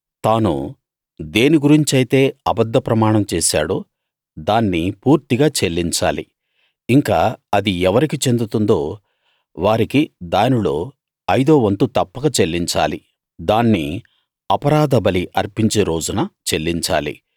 తాను దేని గురించైతే అబద్ధ ప్రమాణం చేసాడో దాన్ని పూర్తిగా చెల్లించాలి ఇంకా అది ఎవరికి చెందుతుందో వారికి దానిలో ఐదో వంతు తప్పక చెల్లించాలి దాన్ని అపరాధ బలి అర్పించే రోజున చెల్లించాలి